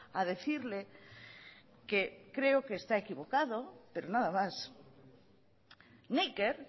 a decirle que creo que está equivocado pero nada más neiker